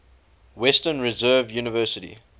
western reserve university